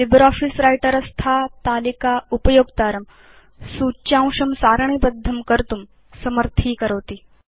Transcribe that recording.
LibreOffice Writer स्था तालिका उपयोक्तारं सूच्यांशं सारणीबद्धं कर्तुं समर्थीकरोति